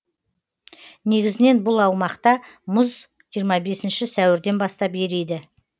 негізінен бұл аумақта мұз жиырма бесінші сәуірден бастап ериді